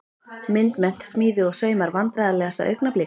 Myndmennt, smíði og saumar Vandræðalegasta augnablik?